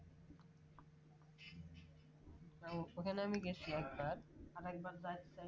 উম ওখানে আমি গেছি একবার আর একবার যাইতো যামু